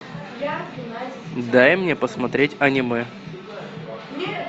дай мне посмотреть аниме